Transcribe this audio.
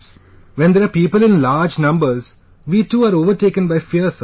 , when there are people in large numbers, we too are overtaken by fear sir